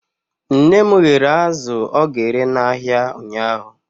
Nne m ghere azụ ọ ga-ere n'ahịa ụnyahụ.